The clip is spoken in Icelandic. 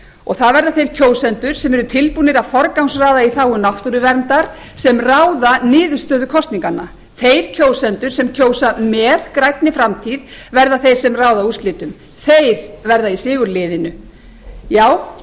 og það verða þeir kjósendur sem eru tilbúnir að forgangsraða í þágu náttúruverndar sem ráða niðurstöðum kosninganna þeir kjósendur sem kjósa með grænni framtíð verða þeir sem ráða úrslitum þeir verða í sigurliðinu já